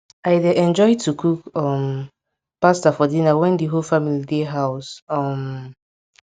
i dey enjoy to cook um pasta for dinner when di whole family dey house um